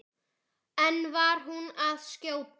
En var hún að skjóta?